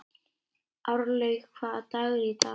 Árlaug, hvaða dagur er í dag?